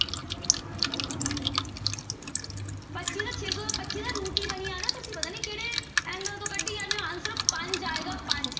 ਪੱਚੀ ਤਾਂ ਛੇ ਸੌ ਪੱਚੀ ਦਾ root ਹੀ ਬਣੀ ਜਾ ਰਿਹਾ, ਤੁਸੀਂ ਪਤਾ ਨੀ ਕਿਹੜੇ angle ਤੋਂ ਕੱਢੀ ਜਾਂਦੇ ਹੋ answer ਪੰਜ ਆਏਗਾ ਪੰਜ।